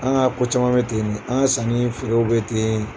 An ka ko caman bɛ ten de an ka sanni ni feerew bɛ ten.